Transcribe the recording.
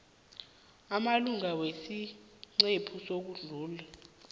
amalunga wesiqhema sokuhlunga